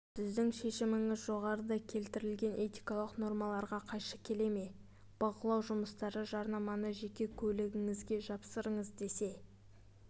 сіздің шешіміңіз жоғарыда келтірілген этикалық нормаларға қайшы келе ме бақылау жұмыстары жарнаманы жеке көлігіңізге жапсырыңыз десе